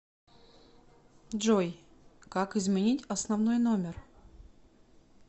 джой как изменить основной номер